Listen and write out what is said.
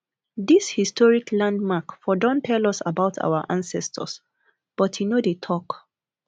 dis historic landmark for don tell us about our ancestors but e no dey tok